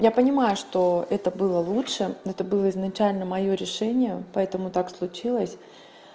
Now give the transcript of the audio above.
я понимаю что это было лучше это было изначально моё решение поэтому так случилось